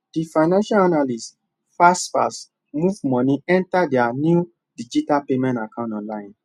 the financial analyst fastfast move money enter their new digital payment account online